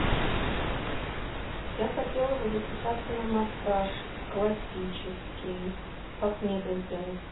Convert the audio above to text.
я хотела бы записаться на массаж классический как мне это сделать